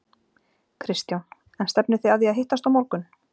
Kristján: En stefnið þið að því að hittast á morgun?